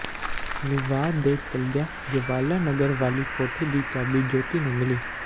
ਵਿਵਾਦ ਦੇ ਚਲਦਿਆਂ ਜਵਾਲਾ ਨਗਰ ਵਾਲੀ ਕੋਠੀ ਦੀ ਚਾਬੀ ਜੋਤੀ ਨੂੰ ਮਿਲੀ